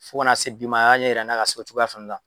Fo ka na se bi ma a y'a ɲɛ yira n'a ka se o cogoya fɛnɛ la.